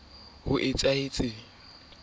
ke ye a se pholla